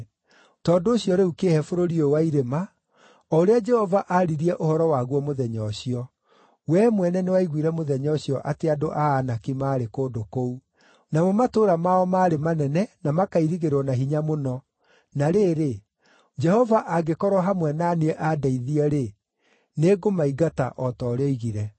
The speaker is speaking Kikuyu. Tondũ ũcio rĩu kĩĩhe bũrũri ũyũ wa irĩma, o ũrĩa Jehova aaririe ũhoro waguo mũthenya ũcio. Wee mwene nĩwaiguire mũthenya ũcio atĩ andũ a Anaki maarĩ kũndũ kũu, namo matũũra mao maarĩ manene na makairigĩrwo na hinya mũno, na rĩrĩ, Jehova angĩkorwo hamwe na niĩ andeithie-rĩ, nĩngũmaingata o ta ũrĩa oigire.”